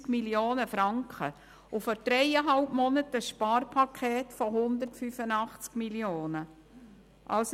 Und vor dreieinhalb Monaten haben wir ein Sparpaket von 185 Mio. Franken geschnürt.